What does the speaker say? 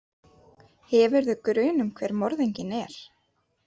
Hefurðu grun um hver morðinginn er?